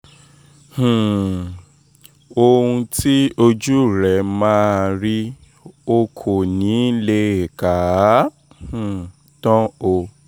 um ohun tí ojú rẹ máa rí o kò ní í lè kà á um tán o